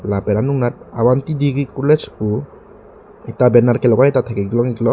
lapen anung anat avanthi degree college pu ekta banner kalogai ta thek ik long iklo.